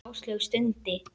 Áslaug stundi.